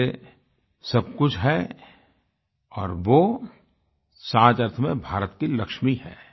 मेरे लिये सब कुछ है और वो सही अर्थ में भारत की लक्ष्मी है